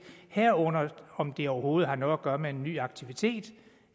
herunder om det overhovedet har noget at gøre med en ny aktivitet